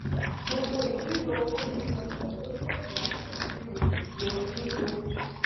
gbogbo ìṣirò owó yíyípo ló jẹ ìlànà ìṣirò ìyípo